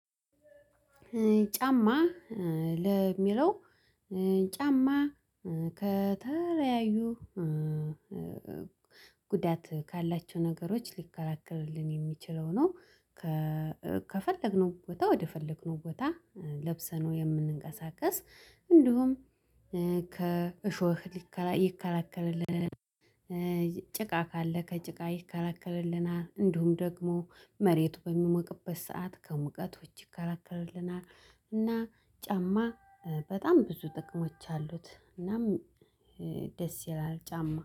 ጫማ ለሚለው ጫማ ከተለያዩ ጉዳት ካላቸው ነገሮች ሊከላከልልን የሚችለው ነው። ከፈለግነው ቦታ ወደፈለግነው ቦታ ለብሰነው የምንቀሳቀስ እንዲሁም ከእሾህ ሊከ ይከላከልልናል። ጭቃ ካለ ከጭቃ ይከላከልናል እንዲሁም ደግሞ መሬቱ በሚሞቅበት ሰዓት ከሙቀቶች ይከላከልናል። እና ጫማ በጣም ብዙ ጥቅሞች አሉት እናም ደስ ይላል። ጫማ